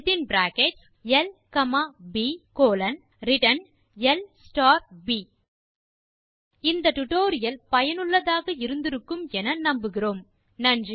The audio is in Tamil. def area within bracket l comma p colon return l star p இந்த டுடோரியல் சுவாரசியமாகவும் பயனுள்ளதாகவும் இருந்திருக்கும் என நம்புகிறேன்